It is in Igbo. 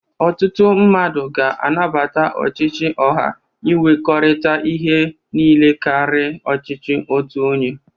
Ọtụtụ mmadụ ga-anabata ọchịchị ọha inwekọrịta ihe niile karị ọchịchị otu onye.